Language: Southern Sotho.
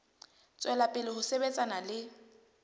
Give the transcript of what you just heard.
tswela pele ho sebetsana le